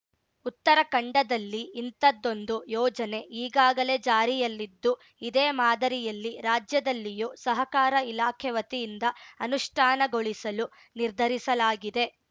ಉತ್ತರಾಖಂಡದಲ್ಲಿ ಇಂಥದೊಂದು ಯೋಜನೆ ಈಗಾಗಲೇ ಜಾರಿಯಲ್ಲಿದ್ದು ಇದೇ ಮಾದರಿಯಲ್ಲಿ ರಾಜ್ಯದಲ್ಲಿಯೂ ಸಹಕಾರ ಇಲಾಖೆ ವತಿಯಿಂದ ಅನುಷ್ಠಾನಗೊಳಿಸಲು ನಿರ್ಧರಿಸಲಾಗಿದೆ